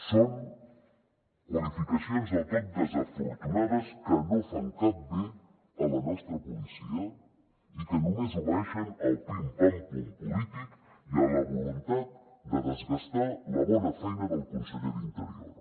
són qualificacions del tot desafortunades que no fan cap bé a la nostra policia i que només obeeixen al pim pam pum polític i a la voluntat de desgastar la bona feina del conseller d’interior